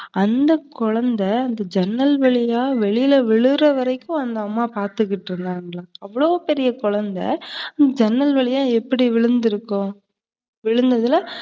அந்த குழந்தை, அந்த ஜன்னல் வழியா வெளியில விழுறவரைக்கும் அந்த அம்மா பாத்துட்டு இருந்தாங்களா? அவளோ பெரிய குழந்தை ஜன்னல் வழியா எப்படி விழுந்துருக்கும்? விழுந்ததுல